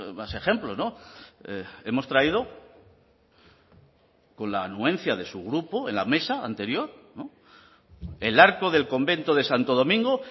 más ejemplos hemos traído con la anuencia de su grupo en la mesa anterior el arco del convento de santo domingo